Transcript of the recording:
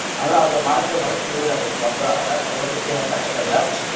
ಅಂದ್ರ ಅದ ಮಾಡಸ್ರಿ ಹೊಲಕ್ಕ ಚೊಲೋರಿ ಅದರ ಗೊಬ್ರ ಅಂದ್ರ ಫಲವತ್ತತೆ ಹೆಚ್ಚ ಅಕ್ಕೆತ್ರಿ ಅಲ್ಲ ಅದ್.